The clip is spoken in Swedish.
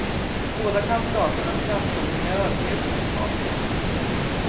Båda kandidaternas framtoning är ödmjuk och sympatisk.